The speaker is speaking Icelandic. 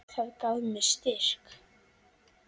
Það gaf mér styrk.